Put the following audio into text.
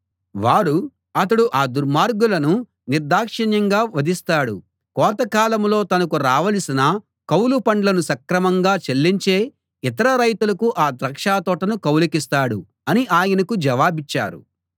వారు అతడు ఆ దుర్మార్గులను నిర్దాక్షిణ్యంగా వధిస్తాడు కోతకాలంలో తనకు రావలసిన కౌలు పండ్లను సక్రమంగా చెల్లించే ఇతర రైతులకు ఆ ద్రాక్షతోటను కౌలుకిస్తాడు అని ఆయనకు జవాబిచ్చారు